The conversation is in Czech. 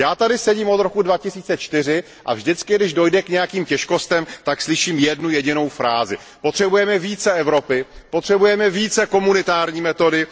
Já tady sedím od roku 2004 a vždycky, když dojde k nějakým těžkostem, tak slyším jednu jedinou frázi Potřebujeme více Evropy, potřebujeme více komunitární metody.